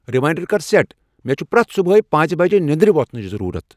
Reminder کر set, مے چِھ پرٮ۪تھ صبح پانٛژِ بج نیندرِ وۄتھنٕچ ضرورت ۔